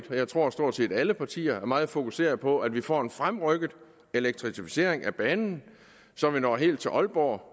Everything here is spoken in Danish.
jeg tror stort set alle partier er meget fokuseret på at vi får en fremrykket elektrificering af banen så vi når helt til ålborg